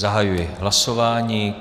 Zahajuji hlasování.